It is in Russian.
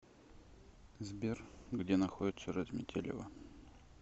сбер где находится разметелево